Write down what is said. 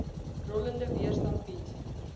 rollende weerstand bied